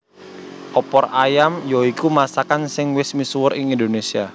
Opor ayam ya iku masakan sing wis misuwur ing Indonésia